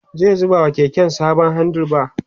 zai zuba wa keken sabon handle bar